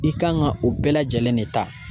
I kan ka o bɛɛ lajɛlen de ta